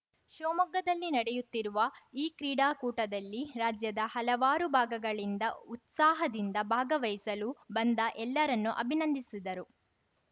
ಶಿವಮೊಗ್ಗದಲ್ಲಿ ನಡೆಯುತ್ತಿರುವ ಈ ಕ್ರೀಡಾಕೂಟದಲ್ಲಿ ರಾಜ್ಯದ ಹಲವಾರು ಭಾಗಗಗಳಿಂದ ಉತ್ಸಾಹದಿಂದ ಭಾಗವಹಿಸಲು ಬಂದ ಎಲ್ಲರನ್ನು ಅಭಿನಂದಿಸಿದರು